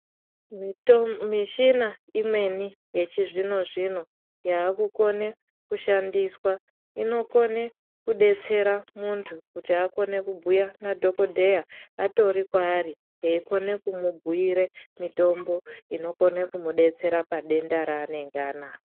Mito mishina imweni yechizvino-zvino ,yaakukone kushandiswa inokone kudetsera muntu kutibakone kubhuya nadhokodheya atoripo kwaari eikone kumubhuire mitombo inokone kumudetsera padenda raanenga anaro.